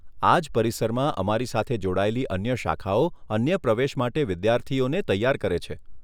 આજ પરિસરમાં અમારી સાથે જોડાયેલી અન્ય શાખાઓ અન્ય પ્રેવેશ માટે વિદ્યાર્થીઓને તૈયાર કરે છે.